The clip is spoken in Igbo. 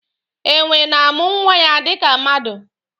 Enwè na-amụ nwa ya dịka mmadụ.